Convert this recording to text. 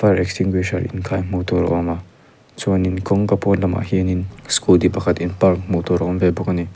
fire extinguisher in khai hmuh tur a awm a chuanin kawngka pawn lamah hianin scooty pakhat in park hmuh tur a awm ve bawk ani.